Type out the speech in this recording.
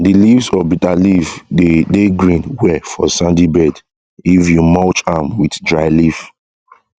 de leaves of bitter leaf de dey green well for sandy bed if you mulch am with dry leaf